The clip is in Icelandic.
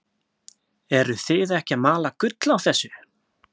Eruð þið ekki að mala gull á þessu?